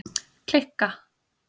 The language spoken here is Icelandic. Kikka, hvaða mánaðardagur er í dag?